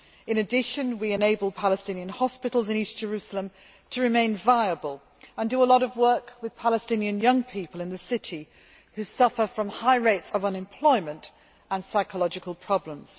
In addition, we enable Palestinian hospitals in East Jerusalem to remain viable and we do a lot of work with Palestinian young people in the city who suffer from high rates of unemployment and psychological problems.